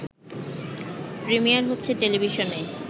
premier হচ্ছে টেলিভিশনে